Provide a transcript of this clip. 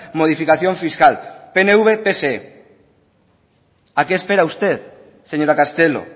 modificación fiscal pnv pse a qué espera usted señora castelo